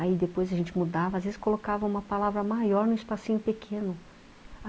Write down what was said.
Aí depois a gente mudava, às vezes colocava uma palavra maior num espacinho pequeno.